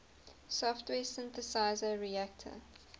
software synthesizer reaktor